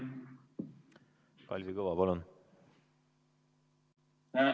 Kalvi Kõva, palun!